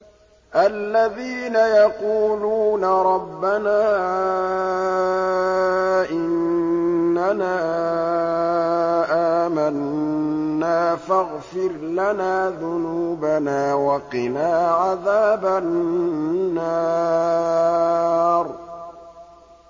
الَّذِينَ يَقُولُونَ رَبَّنَا إِنَّنَا آمَنَّا فَاغْفِرْ لَنَا ذُنُوبَنَا وَقِنَا عَذَابَ النَّارِ